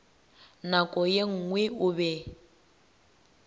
nako ye nngwe o be